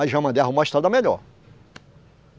Aí já mandei arrumar uma estrada melhor.